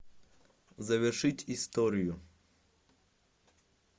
завершить историю